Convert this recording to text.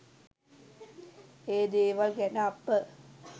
ඒ දේවල් ගැන අප